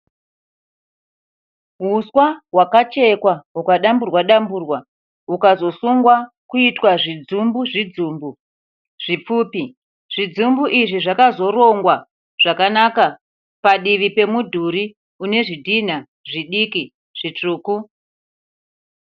Huswa hwakachekwa hukadamburwa damburwa hukazosungwa kuita zvidzumbu zvidzumbu zvipfupi. Zvidzumbu izvi zvakazorongwa zvakanaka padivi pemudhuri unezvidhina zviduku zvitsvuku.